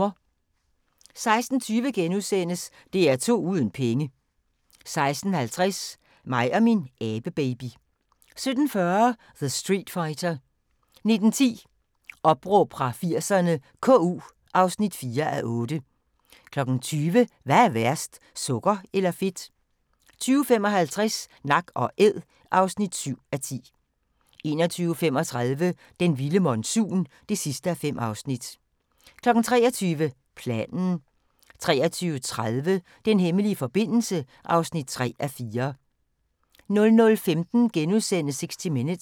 16:20: DR2 uden penge * 16:50: Mig og min abebaby 17:40: The Streetfighter 19:10: Opråb fra 80'erne - KU (4:8) 20:00: Hvad er værst – sukker eller fedt? 20:55: Nak & æd (7:10) 21:35: Den vilde monsun (5:5) 23:00: Planen 23:30: Den hemmelige forbindelse (3:4) 00:15: 60 Minutes *